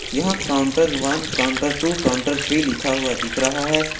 यह counter one counter two counter तीन लिखा हुआ दिख रहा है।